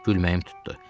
Gülməyim tutdu.